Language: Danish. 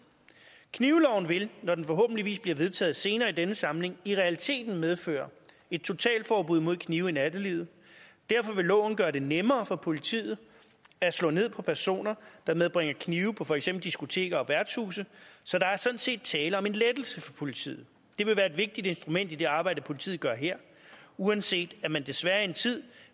knivloven vil når den forhåbentlig bliver vedtaget senere i denne samling i realiteten medføre et totalt forbud mod knive i nattelivet derfor vil loven gøre det nemmere for politiet at slå ned på personer der medbringer knive på for eksempel diskoteker og værtshuse så der er sådan set tale om en lettelse for politiet det vil være et vigtigt instrument i det arbejde politiet gør her uanset at man desværre en tid